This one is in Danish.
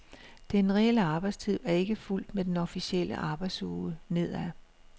Den reelle arbejdstid er ikke fulgt med den officielle arbejdsuge nedad.